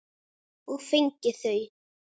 Og fengið þau.